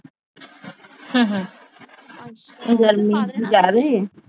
ਗਰਮੀ ਜਿਆਦੀ ਏ?